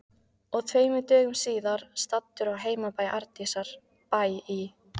Og tveimur dögum síðar, staddur á heimabæ Arndísar, Bæ í